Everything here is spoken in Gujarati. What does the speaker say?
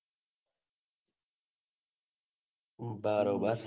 બરોબર